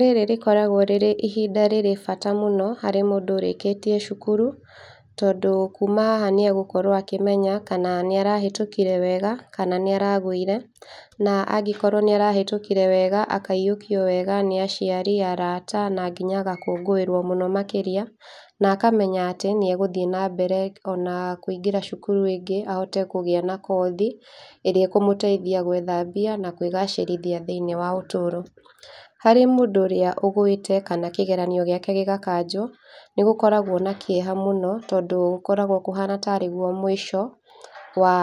Rĩrĩ rĩkoragwo rĩrĩ ihinda rĩrĩ bata mũno harĩ mũndũ ũrĩkĩtie cũkũrũ, tondũ kũma haha nĩagũkorwo akĩmenya kana nĩarahatũkire wega kana nĩaragũire, na angĩkorwo nĩarahetũkire wega akaiyũkio wega nĩ aciari, arata na nginya agakũngũĩrwo mũno makĩria, na akamenya atĩ nĩegũthiĩ nambere ona kũingĩra cũkũrũ ĩngĩ ahote kũgĩa na kothi ĩrĩa ĩkũmũteithia gwetha mbia, na kwĩgacĩrithia thĩinĩ wa ũtũro. Harĩ mũndũ ũrĩa ĩgũĩte kana kĩgeranio gĩake gĩgakanjũo, nĩgũkoragwo na kĩeha mũno tondũ gũkoragwo kũhana tarĩ gũo mũico wa,